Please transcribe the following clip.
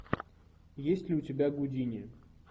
есть ли у тебя гудини